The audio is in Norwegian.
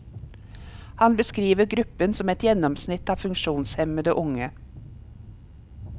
Han beskriver gruppen som et gjennomsnitt av funksjonshemmede unge.